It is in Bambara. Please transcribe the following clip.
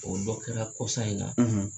O dɔ kɛra kɔsa in na